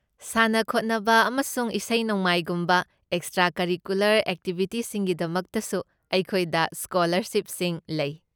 ꯁꯥꯟꯅ ꯈꯣꯠꯅꯕ ꯑꯃꯁꯨꯡ ꯏꯁꯩ ꯅꯣꯡꯃꯥꯏꯒꯨꯝꯕ ꯑꯦꯛꯁꯇ꯭ꯔꯥ ꯀꯔꯤꯀꯨꯂꯔ ꯑꯦꯛꯇꯤꯚꯤꯇꯤꯁꯤꯡꯒꯤꯗꯃꯛꯇꯁꯨ ꯑꯩꯈꯣꯏꯗ ꯁ꯭ꯀꯣꯂꯔꯁꯤꯞꯁꯤꯡ ꯂꯩ꯫